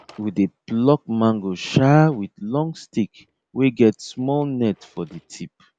we dey pluck mango um with long stick wey get small net for the tip